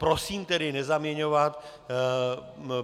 Prosím tedy nezaměňovat.